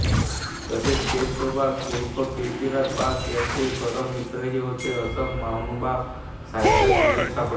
तसेच केसोबास उर्फ केशिराज बास याचे ते परम मित्रही होते असा महानुभाव साहित्यात उल्लेख सापडतो